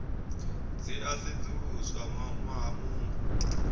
dzi a sedzuluswa ṅwaha muṅwe